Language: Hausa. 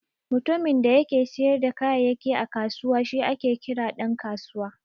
Mutumin da yake siyar da kayayyaki a kusawa shi ake kira Dan kasuwa.